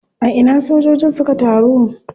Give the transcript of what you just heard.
A ina sojojin suka taru?